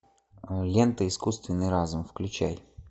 лента искусственный разум включай